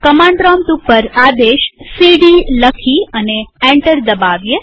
command prompt ઉપર આદેશ CD લખી અને એન્ટર દબાવીએ